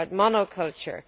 it is about monoculture.